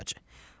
Yaxşı, bacı.